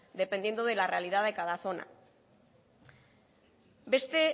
dependiendo de la realidad de cada zona beste